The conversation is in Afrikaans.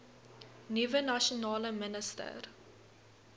nuwe nasionale minister